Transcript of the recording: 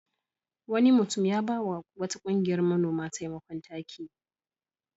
Wani mutum ya ba wa wata ƙungiyar manoma taimakon taki.